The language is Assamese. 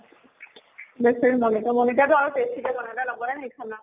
বেছেৰি মনিকা । মনিকা তো আৰু tasty কে বনাই । তাই নবনাই নেকি খানা ?